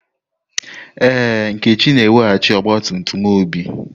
Ee, Nkechi na-eweghachi ọgba tum tum Obi.